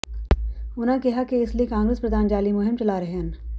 ਉਨ੍ਹਾਂ ਕਿਹਾ ਕਿ ਇਸ ਲਈ ਕਾਂਗਰਸ ਪ੍ਰਧਾਨ ਜਾਅਲੀ ਮੁਹਿੰਮ ਚਲਾ ਰਹੇ ਹਨ